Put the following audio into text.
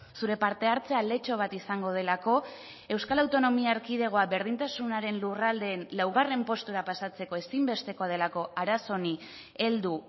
zure parte hartzea aletxo bat izango delako euskal autonomia erkidegoa berdintasunaren lurraldeen laugarren postura pasatzeko ezinbestekoa delako arazo honi heldu